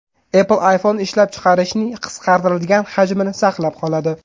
Apple iPhone ishlab chiqarishning qisqartirilgan hajmini saqlab qoladi.